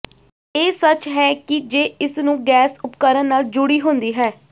ਇਹ ਸੱਚ ਹੈ ਕਿ ਜੇ ਇਸ ਨੂੰ ਗੈਸ ਉਪਕਰਣ ਨਾਲ ਜੁੜੀ ਹੁੰਦੀ ਹੈ